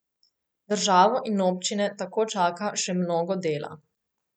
Državo in občine tako čaka še mnogo dela.